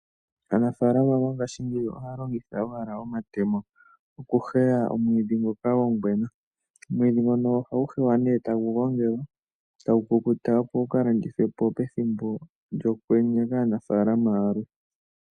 Aanafalama mongashingeyi ohaya longitha owala omatemo okuheya omwiidhi ngoka gongwena. Omwiidhi ngono ohagu heywa nee tagu gongelwa, tagu kukuta, opo gu ka landithwe po pethimbo lyokwenye kaanafaalama yalwe.